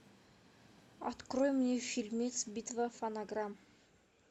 открой мне фильмец битва фонограмм